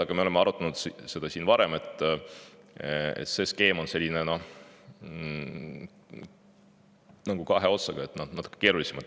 Aga me oleme seda siin varem arutanud, see skeem on nagu kahe otsaga, natuke keerulisem.